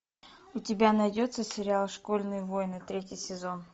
у тебя найдется сериал школьные войны третий сезон